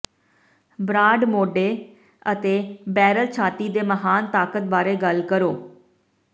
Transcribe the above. broad ਮੋਢੇ ਅਤੇ barrel ਛਾਤੀ ਦੇ ਮਹਾਨ ਤਾਕਤ ਬਾਰੇ ਗੱਲ ਕਰੋ